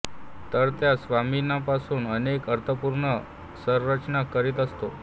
तर त्या स्वनिमांपासून अनेक अर्थपूर्ण संरचना करीत असतो